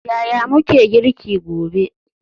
Yaya muke girki gobe?